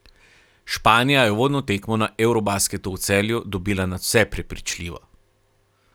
Španija je uvodno tekmo na eurobasketu v Celju dobila nadvse prepričljivo.